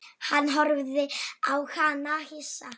Hann horfði á hana hissa.